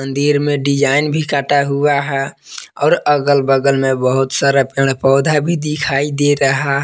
मंदिर में डिजाइन भी काटा हुआ है और अगल बगल में बहुत सारा पेड़ पौधा भी दिखाई दे रहा--